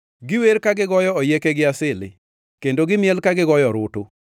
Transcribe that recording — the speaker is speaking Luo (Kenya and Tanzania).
Giwer ka gigoyo oyieke gi asili; kendo gimiel ka gigoyo orutu.